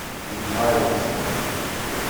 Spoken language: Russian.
михайловском